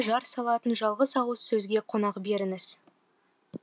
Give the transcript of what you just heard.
жар салатын жалғыз ауыз сөзге қонақ беріңіз